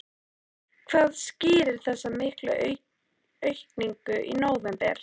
Hvað skýrir þessa miklu aukningu í nóvember?